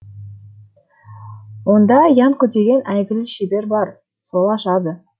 онда янко деген әйгілі шебер бар сол ашады